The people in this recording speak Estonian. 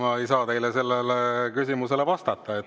Ma ei saa sellele küsimusele vastata.